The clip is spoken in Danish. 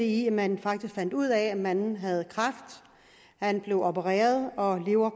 i at man fandt ud af at manden havde kræft han blev opereret og han lever